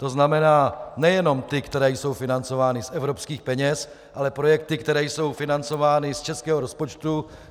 To znamená nejenom ty, které jsou financovány z evropských peněz, ale projekty, které jsou financovány z českého rozpočtu.